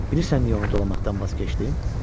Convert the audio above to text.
Bilirsən niyə onu dolamaqdan vaz keçdim?